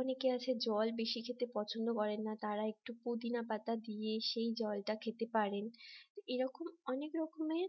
অনেকে আছে জল বেশি খেতে পছন্দ করেন না তারা একটু পুদিনা পাতা দিয়ে সেই জলটা খেতে পারেন এরকম অনেক রকমের